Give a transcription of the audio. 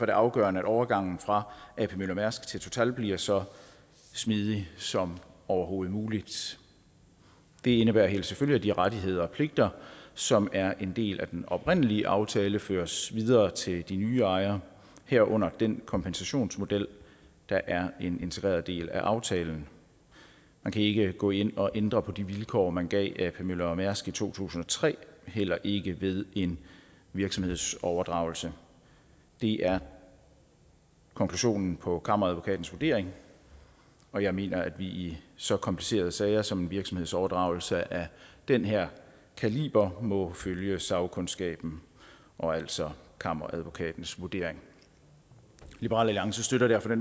det afgørende at overgangen fra ap møller mærsk til total bliver så smidig som overhovedet mulig det indebærer helt selvfølgeligt at de rettigheder og pligter som er en del af den oprindelige aftale føres videre til de nye ejere herunder den kompensationsmodel der er en integreret del af aftalen man kan ikke gå ind og ændre på de vilkår man gav ap møller mærsk i to tusind og tre heller ikke ved en virksomhedsoverdragelse det er konklusionen på kammeradvokatens vurdering og jeg mener at vi i så komplicerede sager som en virksomhedsoverdragelse af den her kaliber må følge sagkundskaben og altså kammeradvokatens vurdering liberal alliance støtter derfor det